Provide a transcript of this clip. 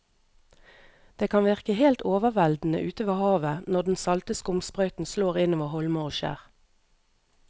Det kan virke helt overveldende ute ved havet når den salte skumsprøyten slår innover holmer og skjær.